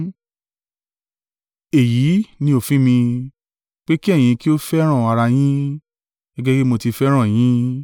Èyí ni òfin mi, pé kí ẹ̀yin kí ó fẹ́ràn ara yín, gẹ́gẹ́ bí mo ti fẹ́ràn yín.